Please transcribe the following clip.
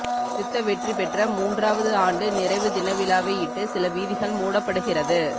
யுத்த வெற்றி பெற்ற மூன்றாவது ஆண்டு நிறைவு தின விழாவையிட்டு சில வீதிகள் மூடப்படுகிறது